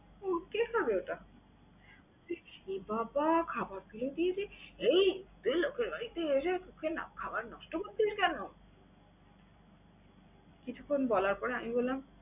ও কে খাবে ওটা? এ বাবা খাবার ফেলে দিয়েছে। এই তুই লোকের বাড়িতে এসে খাবার ওকে না খাওয়ায় খাবার নষ্ট করলি কেন? কিছুক্ষণ বলার পরে আমি বললাম